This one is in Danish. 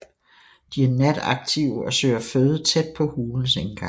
De er nataktive og søger føde tæt på hulens indgang